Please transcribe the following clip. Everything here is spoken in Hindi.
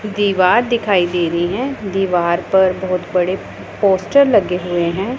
दीवार दिखाई दे रही हैं दीवार पर बहुत बड़े पोस्टर लगे हुए हैं।